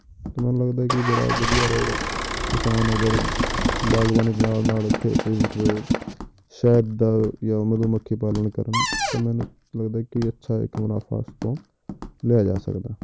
ਤੇ ਮੈਨੂੰ ਲੱਗਦਾ ਹੈ ਕਿ ਬੜਾ ਵਧੀਆ ਰਹੇਗਾ ਕਿਸਾਨ ਅਗਰ ਬਾਗ਼ਬਾਨੀ ਦੇ ਨਾਲ ਨਾਲ ਖੇਤੀ ਇੱਕ ਸ਼ਹਿਦ ਦਾ ਜਾਂ ਮਧੂਮੱਖੀ ਪਾਲਣ ਕਰਨ ਤਾਂ ਮੈਨੂੰ ਲੱਗਦਾ ਹੈ ਕਿ ਅੱਛਾ ਇੱਕ ਮੁਨਾਫ਼ਾ ਇਸ ਤੋਂ ਲਇਆ ਜਾ ਸਕਦਾ ਹੈ।